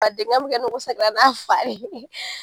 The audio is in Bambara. A denkɛ bɛ n'a fa ye